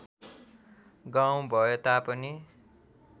गाउँ भए तापनि